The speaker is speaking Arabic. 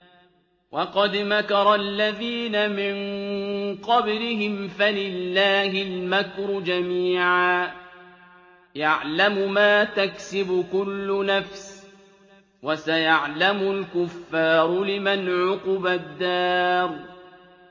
وَقَدْ مَكَرَ الَّذِينَ مِن قَبْلِهِمْ فَلِلَّهِ الْمَكْرُ جَمِيعًا ۖ يَعْلَمُ مَا تَكْسِبُ كُلُّ نَفْسٍ ۗ وَسَيَعْلَمُ الْكُفَّارُ لِمَنْ عُقْبَى الدَّارِ